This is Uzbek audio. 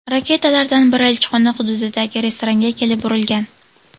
Raketalardan biri elchixona hududidagi restoranga kelib urilgan.